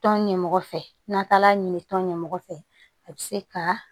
Tɔn ɲɛmɔgɔ fɛ n'an taala ɲini tɔn ɲɛmɔgɔ fɛ a bɛ se ka